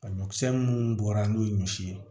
Ɲɔkisɛ minnu bɔra n'o ye ɲɔ si ye